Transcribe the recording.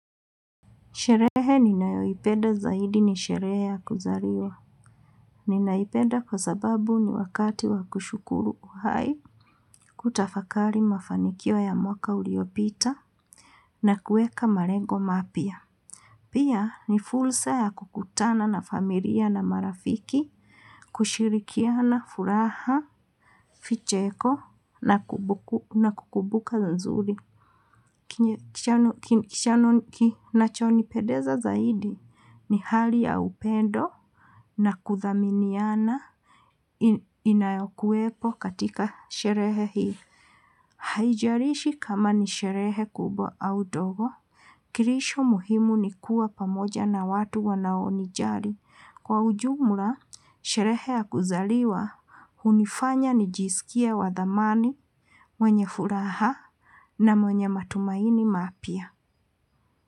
Sherehe ninayoipenda zaidi ni sherehe ya kuzaliwa. Ninaipenda kwa sababu ni wakati wa kushukuru uhai, kutafakari mafanikio ya mwaka uliopita, na kuweka malengo mapya. Pia ni fursa ya kukutana na familia na marafiki, kushirikiana furaha, vicheko, na kukumbuka nzuri. Kinachonipendeza zaidi ni hali ya upendo na kuthaminiana inayokuwepo katika sherehe hii. Haijalishi kama ni sherehe kubwa au ndogo. Kilicho muhimu ni kuwa pamoja na watu wanaonijali. Kwa ujumla, sherehe ya kuzaliwa hunifanya nijisikie wa thamani, mwenye furaha na mwenye matumaini mapya.